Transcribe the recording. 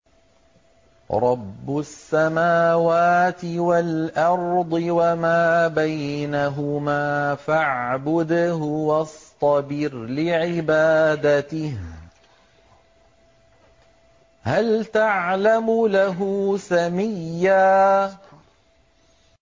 رَّبُّ السَّمَاوَاتِ وَالْأَرْضِ وَمَا بَيْنَهُمَا فَاعْبُدْهُ وَاصْطَبِرْ لِعِبَادَتِهِ ۚ هَلْ تَعْلَمُ لَهُ سَمِيًّا